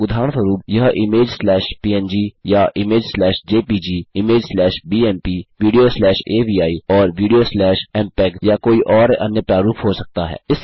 उदाहरणस्वरुप यह image slash PNG या image slash JPEG image slash BMP video slash AVI और वीडियो स्लैश म्पेग या कोई और अन्य प्रारूप हो सकता है